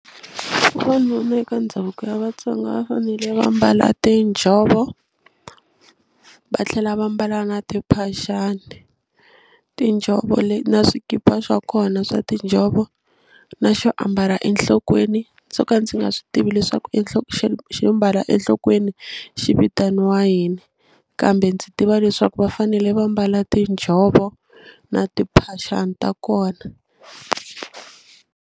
N'wanuna eka ndhavuko ya Vatsonga va fanele va mbala tinjhovo va tlhela va mbala na timphaxani tinjhovo na swikipa swa kona swa tinjhovo na xo ambala enhlokweni ndzo ka ndzi nga swi tivi leswaku xo mbala enhlokweni xi vitaniwa yini kambe ndzi tiva leswaku va fanele va mbala tinjhovo na timphaxani ta kona.